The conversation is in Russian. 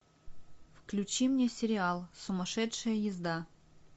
включи мне сериал сумасшедшая езда